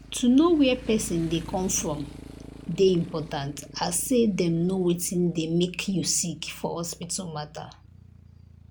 to know where pesin dey come from dey important as say dem know wetin dey make you sick for hospital matter.